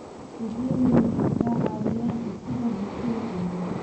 Adeegyadani waxay ka caawinayaan dhisidda bulsho xooggan.